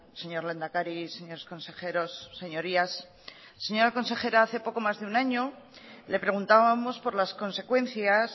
señor lehendakari señores consejeros señorías señora consejera hace poco más de un año le preguntábamos por las consecuencias